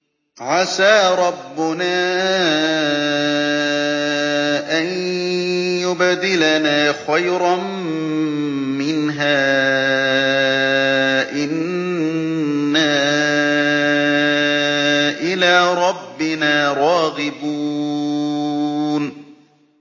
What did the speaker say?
عَسَىٰ رَبُّنَا أَن يُبْدِلَنَا خَيْرًا مِّنْهَا إِنَّا إِلَىٰ رَبِّنَا رَاغِبُونَ